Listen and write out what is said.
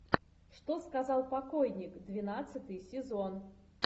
что сказал покойник двенадцатый сезон